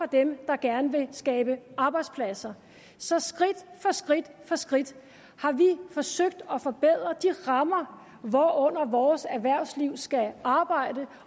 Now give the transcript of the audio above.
dem der gerne vil skabe arbejdspladser så skridt skridt for skridt har vi forsøgt at forbedre de rammer hvorunder vores erhvervsliv skal arbejde